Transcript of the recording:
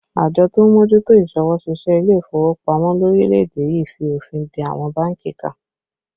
Àjọ tó ń mójútó isọwọ́-ṣiṣẹ́ ilé ìfowópamọ́ lórílẹ̀ èdè yìí fi òfin de àwọn bánkì kan